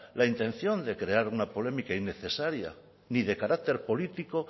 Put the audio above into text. la intención de crear una polémica innecesaria ni de carácter político